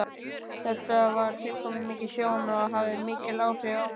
Þetta var tilkomumikil sjón og hafði mikil áhrif á mig.